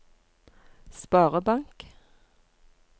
sparebank